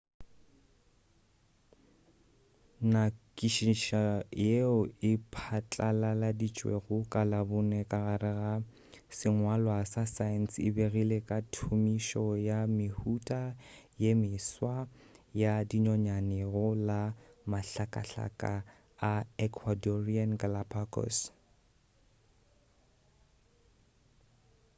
nyakišišo yeo e patlalaladitšwego ka labone ka gare ga sengwalwa sa science e begile ka thomišo ya mehuta ya meswa ya dinonyane go la mahlakahlaka a ecuadorean galápagos